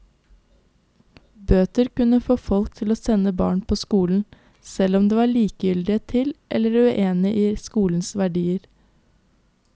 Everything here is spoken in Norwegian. Bøter kunne få folk til å sende barna på skolen, selv om de var likegyldige til eller uenige i skolens verdier.